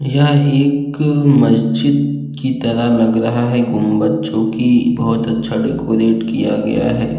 यह एक मस्जिद की तरह लग रहा है गुम्बद जोकि बोहोत अच्छा डेकोरेट किया गया हैं।